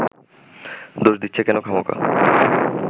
দোষ দিচ্ছ কেন খামোকা